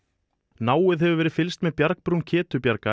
náið hefur verið fylgst með bjargbrún